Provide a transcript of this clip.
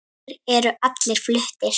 Þeir eru allir fluttir